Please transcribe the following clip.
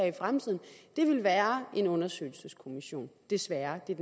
i fremtiden vil være en undersøgelseskommission desværre det er